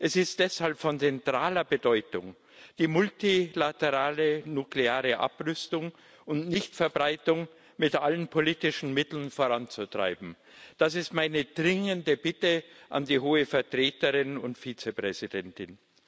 Es ist deshalb von zentraler Bedeutung, die multilaterale nukleare Abrüstung und Nichtverbreitung mit allen politischen Mitteln voranzutreiben. Das ist meine dringende Bitte an die Hohe Vertreterin und Vizepräsidentin.